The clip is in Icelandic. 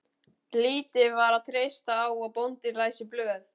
Lítið var að treysta á að bóndinn læsi blöð.